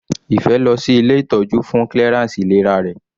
Ife lọ sí ilé ìtọ́jú fún clearance ìlera rẹ̀.